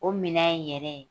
O minɛn yɛrɛ